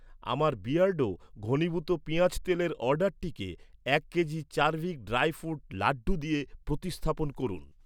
আমার বিয়ার্ডো, ঘনীভূত পেঁয়াজ তেলের অর্ডারটিকে এক kg Charvik dry fruit laddu দিয়ে প্রতিস্থাপন করুন।